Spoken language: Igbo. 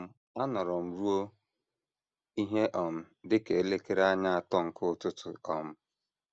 um Anọrọ m ruo ihe um dị ka elekere anya atọ nke ụtụtụ um.